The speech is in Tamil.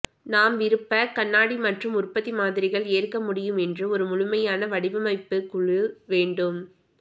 நாம் விருப்ப கண்ணாடி மற்றும் உற்பத்தி மாதிரிகள் ஏற்க முடியும் என்று ஒரு முழுமையான வடிவமைப்பு குழு வேண்டும்